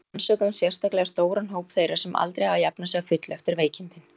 Við rannsökuðum sérstaklega stóran hóp þeirra sem aldrei hafa jafnað sig að fullu eftir veikindin.